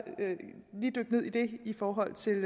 lige dykke ned i det i forhold til